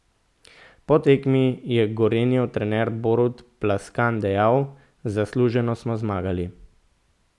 Po tekmi je Gorenjev trener Borut Plaskan dejal: 'Zasluženo smo zmagali.